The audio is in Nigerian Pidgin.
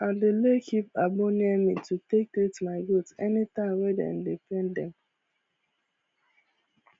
i dey lay keep agbo near me to take treat my goat anytime wey dem dey pain dem